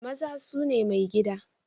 Maza su ne maigida